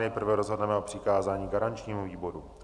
Nejprve rozhodneme o přikázání garančnímu výboru.